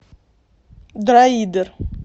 дроидер